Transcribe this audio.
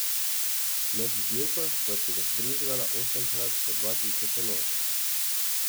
Med dirko sva si ga vbrizgala osemkrat po dva tisoč enot.